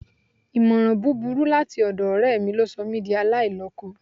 Ìmọ̀ràn búburú láti ọ̀dọ̀ ọ̀rẹ́ mi ló sọ mí di aláìlọ́kọ